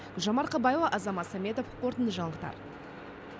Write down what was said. гүлжан марқабаева азамат сәметов қорытынды жаңалықтар